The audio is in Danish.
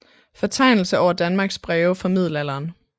Fortegnelse over Danmarks Breve fra Middelalderen